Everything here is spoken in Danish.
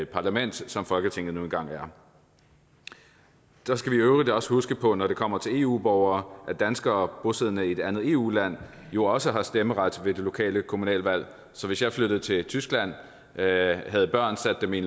parlament som folketinget nu engang er så skal vi i øvrigt også huske på når det kommer til eu borgere at danskere bosiddende i et andet eu land jo også har stemmeret ved det lokale kommunalvalg så hvis jeg flyttede til tyskland havde børn og satte dem i